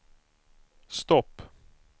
stopp